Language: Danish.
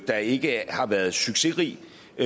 der ikke har været succesrigt